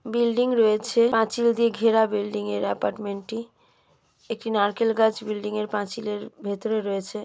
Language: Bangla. বিল্ডিং রয়েছে পাঁচিল দিয়ে ঘেরা বিল্ডিং এর অ্যাপার্টমেন্ট টি একটি নারকেল গাছ বিল্ডিং এর পাঁচিলের ভেতরে রয়েছে।